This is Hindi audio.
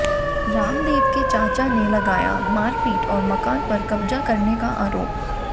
रामदेव के चाचा ने लगाया मारपीट और मकान पर कब्जा करने का आरोप